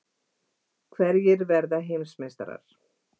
Hverjir verða heimsmeistarar?